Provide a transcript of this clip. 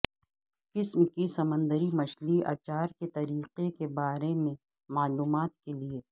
قسم کی سمندری مچھلی اچار کے طریقہ کے بارے میں معلومات کے لئے